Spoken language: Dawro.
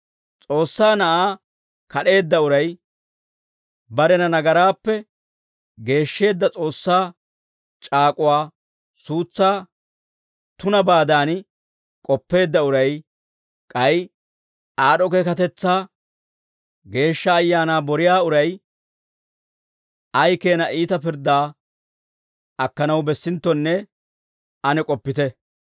S'oossaa Na'aa kad'eedda uray, barena nagaraappe geeshsheedda S'oossaa c'aak'uwaa suutsaa tunabaadan k'oppeedda uray, k'ay aad'd'o keekatetsaa Geeshsha Ayaanaa boriyaa uray, ay keena iita pirddaa akkanaw bessinttonne ane k'oppite.